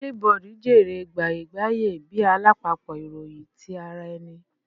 Flipboard jèrè gbaye-gbaye bi alapapọ iroyin ti ara ẹni